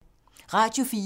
Radio 4